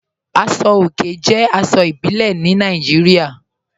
Aṣọ̀ ọ̀kè jẹ́ aṣọ̀ ìbílẹ̀ ní Nàìjíríà.